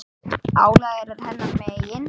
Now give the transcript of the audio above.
Álagið er hennar megin.